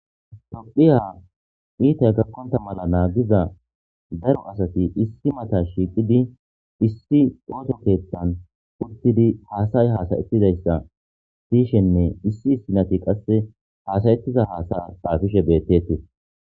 Tophiya ittay gakonta mala nagiza daro asati issi matta shiqidi uttidi hasaya hasayetizaysa siyishenne issi issunat hasaye tiza hasays xappifishe bettetes